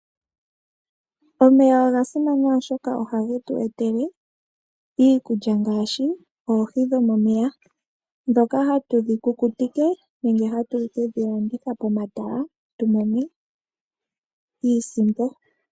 Omeya oga simana oshoka ohage tu etele iikulya ngaashi oohi dhomomeya, ndhoka hatu dhi kukutike, nenge hatu kedhi landitha pomatala, opo tu mone iisimpo.